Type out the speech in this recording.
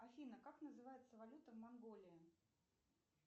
афина как называется валюта в монголии